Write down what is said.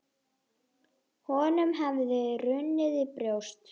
Honum hafði runnið í brjóst.